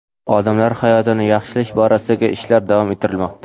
odamlar hayotini yaxshilash borasidagi ishlar davom ettirilmoqda.